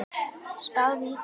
Spáðu í það.